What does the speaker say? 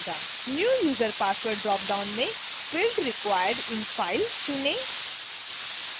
new user password dropdown में field required in file चुनें